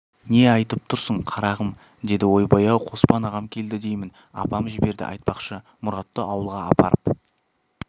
не айтып тұрсың қарағым деді ойбай-ау қоспан ағам келді деймін апам жіберді айтпақшы мұратты ауылға апарып